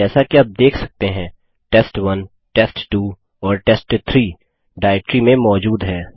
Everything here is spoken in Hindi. जैसा कि आप देख सकते हैं test1टेस्ट2 और टेस्ट3 डाइरेक्टरी में मौजूद हैं